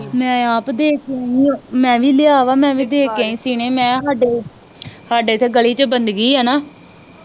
ਮੈ ਆਪ ਦੇ ਕੇ ਆਈ ਆ ਮੈ ਵੀ ਲੇਆ ਵਾ ਮੈ ਵੀ ਦੇ ਕ ਆਈ ਸਿਣਾ ਮਹਾ ਸਾਡੇ ਸਾਡੇ ਇੱਥੇ ਗਲੀ ਚ ਆ ਨਾ